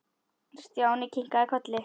Stjáni kinkaði kolli.